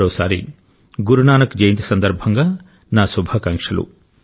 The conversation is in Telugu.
మరోసారి గురునానక్ జయంతి సందర్భంగా నా శుభాకాంక్షలు